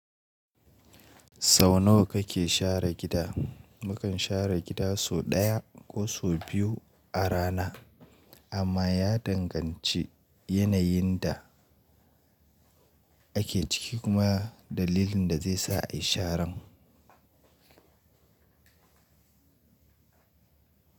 Sau nawa kake share gida? Mukan share gida sau ɗaya, ko sau biyu, a rana, amma ya danganci yanayin da ake ciki kuma dalilin da zai sa ayi sharan.